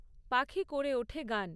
পাখি করে ওঠে গান।